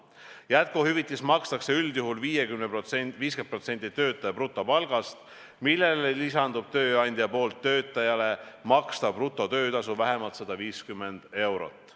Jätkuhüvitist makstakse üldjuhul 50% töötaja brutopalgast, millele lisandub tööandja poolt töötajale makstav brutotöötasu vähemalt 150 eurot.